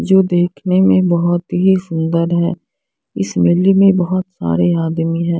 जो देखने में बहोत ही सुन्दर है इस मिल्डी में बहोत सारे आदमी हैं।